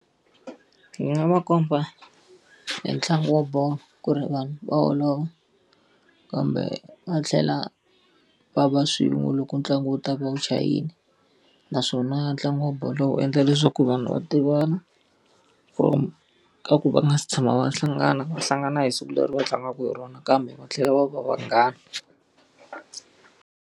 Ndzi nga va komba hi ntlangu wa bolo ku ri vanhu va holova kambe va tlhela va va swin'we loko ntlangu wu ta va wu chayile. Naswona ntlangu wa bolo wu endla leswaku vanhu va tivana from ka ku va nga si tshama va hlangana, va hlangana hi siku leri va tlangaka hi rona kambe va tlhela va va vanghana.